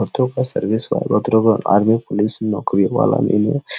हत्या का सर्विस वाला आर्मी पुलिस नकोरि वाला में है।